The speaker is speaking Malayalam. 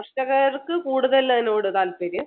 കർഷകർക്ക് കൂടുതൽ അതിനോട് താല്പര്യം